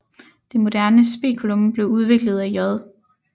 Det moderne speculum blev udviklet af J